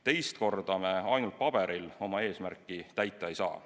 Teist korda me ainult paberil oma eesmärki täita ei saa.